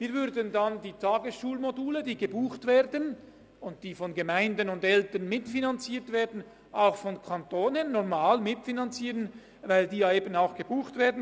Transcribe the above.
Wir würden dann die Tagesschulmodule, die gebucht und von Gemeinden und Eltern mitfinanziert werden, auch vom Kanton her normal mitfinanzieren, weil sie von den Eltern gebucht werden.